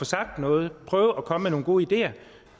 sagt noget at prøve at komme med nogle gode idéer